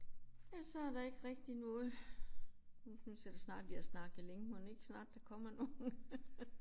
Ellers så er der ikke rigtig noget. Nu synes jeg da snart vi har snakket længe mon ikke snart der kommer nogen